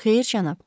Xeyr, cənab.